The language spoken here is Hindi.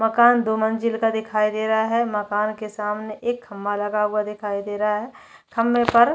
मकान दो मंजिल का दिखाई दे रहा है मकान के सामने एक खम्बा लगा हुआ दिखाई दे रहा है खम्बे पर--